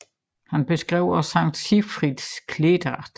Han beskrev også Sankt Sigfrids klædedragt